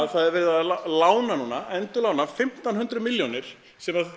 það er verið að lána núna endurlána fimmtán hundruð milljónir sem